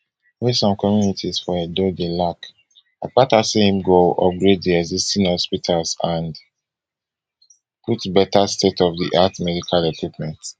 wey some communities for edo dey lack akpata say im go upgrade di existing hospitals and put better stateofdiart medical equipment